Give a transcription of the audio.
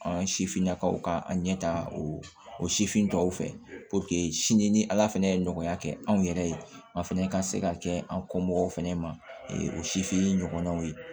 An sifinnakaw ka an ɲɛtaga o sifin tɔw fɛ sini ni ala fana ye nɔgɔya kɛ anw yɛrɛ ye an fana ka se ka kɛ an kɔ mɔgɔw fɛnɛ ma o sifin ɲɔgɔnnaw ye